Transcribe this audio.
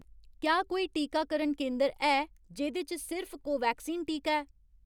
क्या कोई टीकाकरण केंदर है जेह्दे च सिर्फ कोवैक्सीन टीका ऐ ?